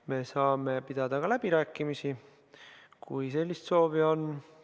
Me saame pidada ka läbirääkimisi, kui sellist soovi on.